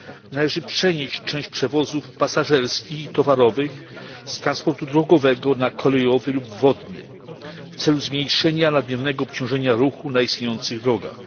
Należy przenieść część przewozów pasażerskich i towarowych z transportu drogowego na kolejowy lub wodny w celu zmniejszenia nadmiernego obciążenia ruchu na istniejących drogach.